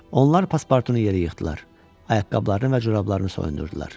Onlar Paspartunu yerə yıxdılar, ayaqqabılarını və corablarını soyundurdular.